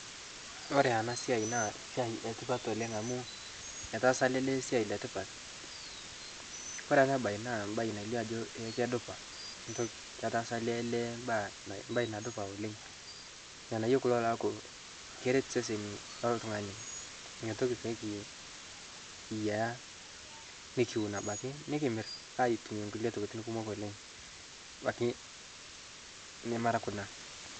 kore anaa siai naa siai etipat oleng amuu etaasa alee lee siai letipat kore anaa bai naa mbai nailio ajoo eeh kedupaa ntokii. ketaasa alee lee mbaainadupaa oleng. lghanayoo kuloo laaku keret sesenii loltunganii inia tokii pikiyah nikiwun abakii nikimir atumie nkulie tokitin kumok oleng abakii nemaraa kunaa